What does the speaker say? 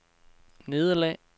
nederlag